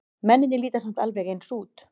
Mennirnir líta samt alveg eins út.